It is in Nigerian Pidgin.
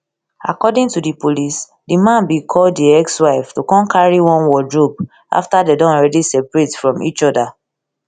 according to di police di man bin call di di ex wife to come carry one wardrobe afta dem don alreadi seperate from each oda